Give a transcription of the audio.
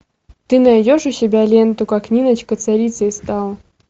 ты найдешь у себя ленту как ниночка царицей стала